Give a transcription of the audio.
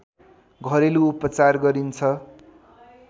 घरेलु उपचार गरिन्छ